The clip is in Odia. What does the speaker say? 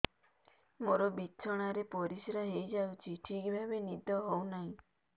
ମୋର ବିଛଣାରେ ପରିସ୍ରା ହେଇଯାଉଛି ଠିକ ଭାବେ ନିଦ ହଉ ନାହିଁ